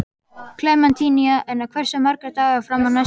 Klementína, hversu margir dagar fram að næsta fríi?